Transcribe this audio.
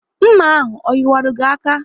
Nma ahụ o yiwaru gị aka?